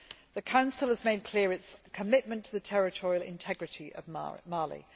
The Council has made clear its commitment to the territorial integrity of Mali.